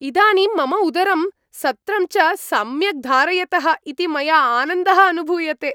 इदानीं मम उदरं, सत्रं च सम्यक् धारयतः इति मया आनन्दः अनुभूयते।